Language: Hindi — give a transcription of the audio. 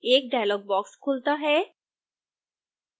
एक dialog box खुलता है